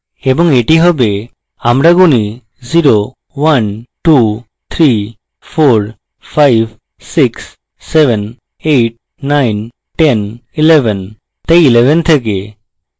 এবং এটি হবেআমার গুনি 0 1 2 3 4 5 7 8 9 10 11 তাই 11 থেকে